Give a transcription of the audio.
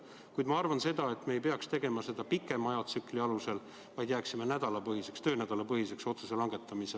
Kuid ma arvan, et me ei peaks seda otsustama pikemaks ajaks, see peaks jääma nädalapõhiseks, töönädalapõhiseks otsuseks.